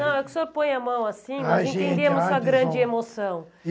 Não, é que o senhor põe a mão assim, nós entendemos a sua grande emoção.